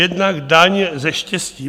Jednak daň ze štěstí.